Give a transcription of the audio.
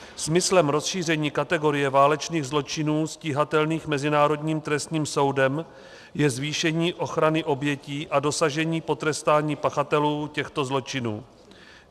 Smyslem rozšíření kategorie válečných zločinů stíhatelných Mezinárodním trestním soudem je zvýšení ochrany obětí a dosažení potrestání pachatelů těchto zločinů.